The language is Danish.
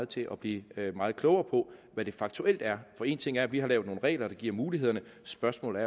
til at blive meget klogere på hvad det faktuelt er for en ting er at vi har lavet nogle regler der giver mulighederne spørgsmålet